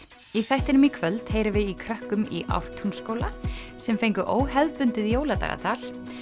í þættinum í kvöld heyrum við í krökkum í Ártúnsskóla sem fengu óhefðbundið jóladagatal